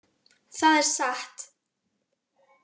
Það er satt!